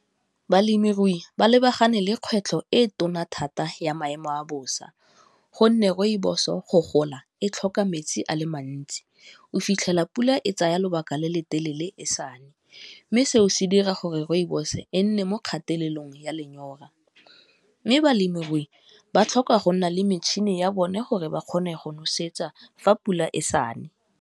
Balemirui ba lebagane le kgwetlho e tona thata ya maemo a bosa gonne rooibos-o go gola e tlhoka metsi a le mantsi, o fitlhela pula e tsaya lobaka le le telele e sa ne mme, seo se dira gore rooibos e nne mo kgatelelong ya lenyora, mme balemirui ba tlhoka go nna le metšhini ya bone gore ba kgone go nosetsa fa pula e sa ne.